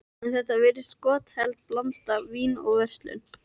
En þetta virðist skotheld blanda: vín og verslun.